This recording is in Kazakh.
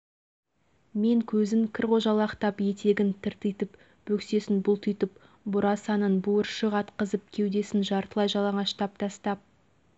сосын адамдар тығыз орналасқан жерде әлгілердің бірінің байқамай бір жеріне тиіп кетсеңіз ол арс ете қалып жатса